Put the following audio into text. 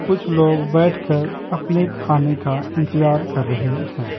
कुछ लोग बैठकर अपने खाने का इंतजार कर रहे हैं।